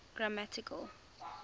grammatical